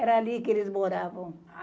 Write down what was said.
Era ali que eles moravam.